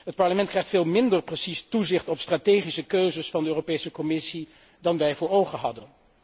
Het Parlement krijgt veel minder precies toezicht op strategische keuzes van de Europese Commissie dan wij voor ogen hadden.